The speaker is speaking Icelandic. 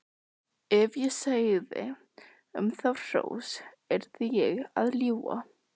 Ef ég segði um þá hrós yrði ég að ljúga.